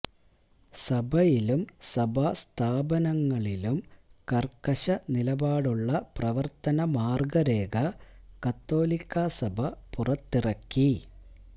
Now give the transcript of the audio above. സഭയിലും സഭാ സ്ഥാപനങ്ങളിലും കര്ക്കശ നിലപാടുള്ള പ്രവര്ത്തന മാര്ഗരേഖ കത്തോലിക്കാ സഭ പുറത്തിറക്കി